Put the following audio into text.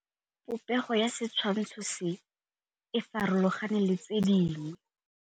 Popêgo ya setshwantshô se, e farologane le tse dingwe.